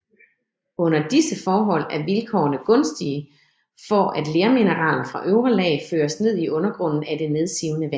Under disse forhold er vilkårene gunstige for at lermineraler fra øvre lag føres ned i undergrunden af det nedsivende vand